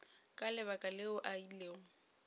ka lebaka leo a ilego